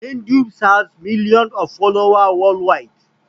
hinduism has million of followers world wide